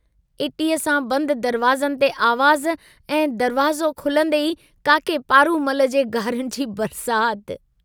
इटीअ सां बंद दरवाज़नि ते आवाज़ ऐं दरवाज़ो खुलन्दे ई काके पारूमल जे गारियुनि जी बरसात।